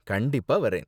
கண்டிப்பா வரேன்.